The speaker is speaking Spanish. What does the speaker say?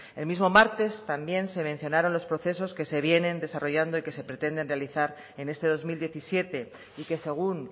el mismo martes también se mencionaron los procesos que se vienen desarrollando y que se pretenden realizar en este dos mil diecisiete y que según